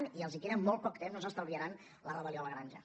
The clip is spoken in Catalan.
i els queda molt poc temps no s’estalviaran la rebel·lió a la granja